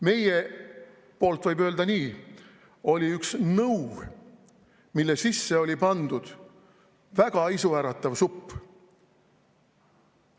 Meie poolt võib öelda nii: oli üks nõu, mille sisse oli pandud väga isuäratav supp.